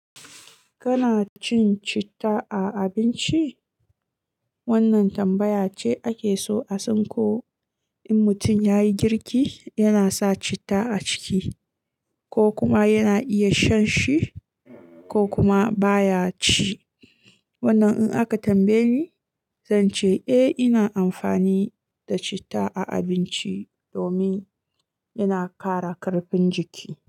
Kana cin citta a abinci? Wannan tambaya ce ake so a san ko in mutum ya yi girki, yana sa citta a ciki ko kuma yana iya shan shi ko kuma baya ci. Wannan in aka tambaye ni, zan ce eh ina amfani da citta a abinci domin yana kara karfin jiki.